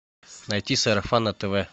найти сарафан на тв